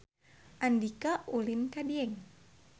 Andika ulin ka Dieng